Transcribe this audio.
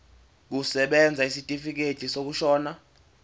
kusebenza isitifikedi sokushona